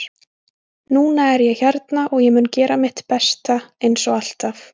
Núna er ég hérna og ég mun gera mitt besta, eins og alltaf